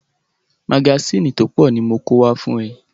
Magásìnì tó pọ̀ ni mo kó wá fún ẹ.